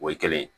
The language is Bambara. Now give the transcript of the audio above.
O ye kelen ye